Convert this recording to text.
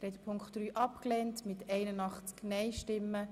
Sie haben Ziffer 3 abgelehnt.